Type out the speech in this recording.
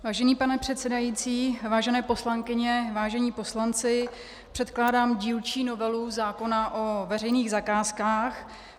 Vážený pane předsedající, vážené poslankyně, vážení poslanci, předkládám dílčí novelu zákona o veřejných zakázkách.